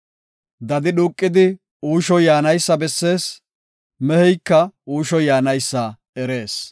Dadi dhuuqidi uushoy yaanaysa bessees; meheyka uushoy yaanaysa erees.